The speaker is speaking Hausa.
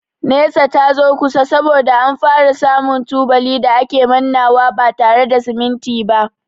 Nesa ta zo kusa saboda an fara samu tubali da a ke mannawa ba tare da siminti ba.